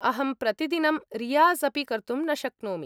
अहं प्रतिदिनं रियाज़् अपि कर्तुं न शक्नोमि।